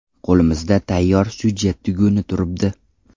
Qo‘limizda tayyor syujet tuguni turibdi.